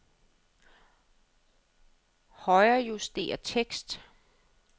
Højrejuster tekst.